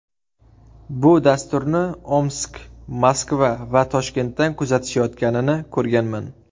Bu dasturni Omsk, Moskva va Toshkentdan kuzatishayotganini ko‘rganman.